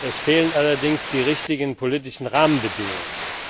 Es fehlen allerdings die richtigen politischen Rahmenbedingungen.